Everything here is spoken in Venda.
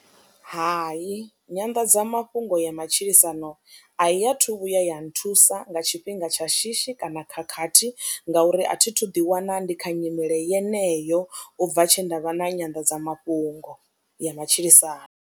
Hayi, nyanḓadzamafhungo ya matshilisano a i athu vhuya ya nthusa nga tshifhinga tsha shishi kana khakhathi ngauri a thi thu ḓiwana ndi kha nyimele yeneyo u bva tshe nda vha na nyanḓadzamafhungo ya matshilisano.